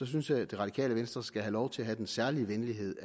synes jeg at det radikale venstre skal have lov til at den særlige venlighed